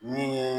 Min ye